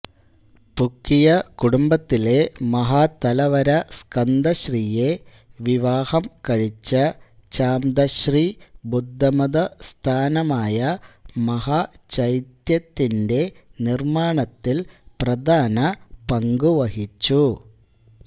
പുക്കിയ കുടുംബത്തിലെ മഹാതലവര സ്കന്ദശ്രീയെ വിവാഹം കഴിച്ച ചാംതശ്രീ ബുദ്ധമതസ്ഥാനമായമഹാചൈത്യത്തിന്റെ നിർമ്മാണത്തിൽ പ്രധാന പങ്കുവഹിച്ചു